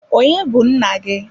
Onye bu nna gị?